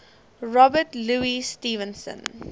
robert louis stevenson